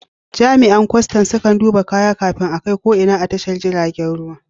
Jami'an kwastan sukan duba kaya kafin a kai ko ina a tashar jirgin ruwa.